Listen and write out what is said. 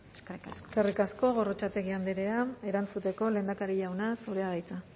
eskerrik asko eskerrik asko gorrotxategi andrea erantzuteko lehendakari jauna zurea da hitza